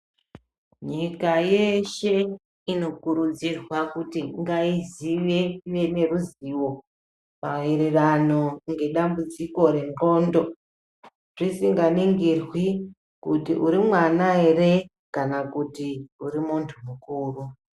Nyika yeshe inokurudzirwaa kuti ngaizive, ive neruzivo maererano ngedambudziko rendxondo, zvisinganingirwi kuti uri mwana here kana kuti uri muntu mukuru.